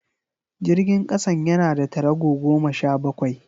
Jirgin kasan yana da tarago goma sha bakwai